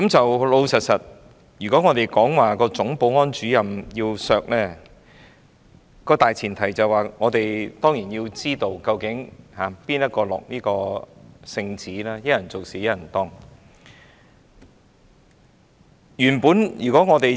我們說要削減立法會總保安主任的薪酬，大前提當然是要知道是誰人下的聖旨，一人做事一人當。